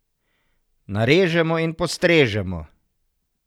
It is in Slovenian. Narežemo in postrežemo!